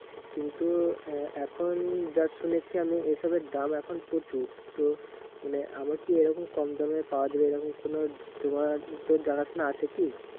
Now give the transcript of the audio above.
কিন্তু এ এখন যা শুনেছি আমি এসবের দাম এখন প্রচুর। তো মানে আমি কি মানে কম দামে পাওয়া যাবে এরকম কোনো তোমার তোর জানাশোনা আছে কি?